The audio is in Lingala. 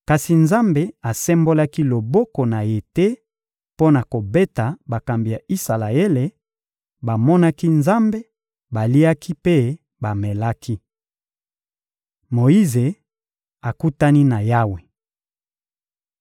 Kasi Nzambe asembolaki loboko na Ye te mpo na kobeta bakambi ya Isalaele; bamonaki Nzambe, baliaki mpe bamelaki. Moyize akutani na Yawe